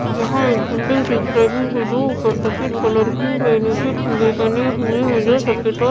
यहाँ एक बिल्डिंग दिख रही है जो ऊपर सफेद कलर की है नीचे खम्भे बने हुए हैं जो सफ़ेद और --